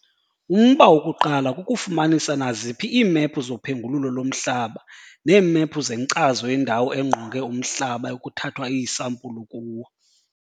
Umba wokuqala kukufumanisa naziphi iimephu zophengululo lomhlaba neemephu zenkcazo yendawo engqonge umhlaba ekuthathwa iisampulu kuwo.